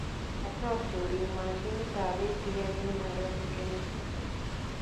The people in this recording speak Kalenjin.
Kachoor choriik maashinitab ATM en Nairobi , Kenya